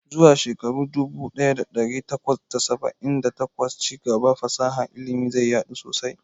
Zuwa shekara dubu ɗaya da ɗari takwas da saba'in da takwas, ci gaban fasahar ilimi zai yadu sosai.